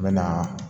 N bɛ na